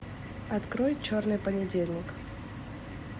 открой черный понедельник